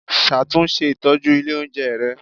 Ṣàtúnṣe ìtọ́jú ilé oúnjẹ rẹ